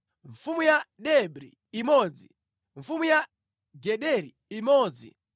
mfumu ya Debri imodzi mfumu ya Gederi imodzi